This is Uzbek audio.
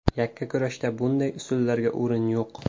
Yakkakurashda bunday usullarga o‘rin yo‘q.